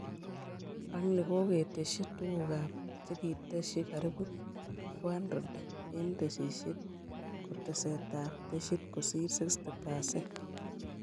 Ak ni kokotesyi togukab chekitasyi karibu 400 eng tesisyit-kotesetab tesyit kosire 60%